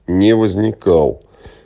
не возникал